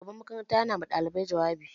Shugaban makaranta yana ma ɗalibai jawabi